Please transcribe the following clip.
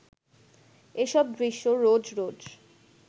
এসব দৃশ্য রোজ রোজ